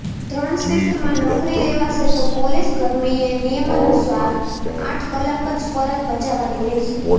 ત્રણ શિફટમાં નોકરી લેવાશે તો પોલીસકર્મીએ નિયમાનુસાર આઠ કલાક જ ફરજ બજાવવાની રહેશે